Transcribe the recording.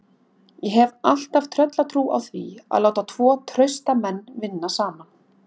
Ég hef alltaf tröllatrú á því að láta tvo trausta menn vinna saman.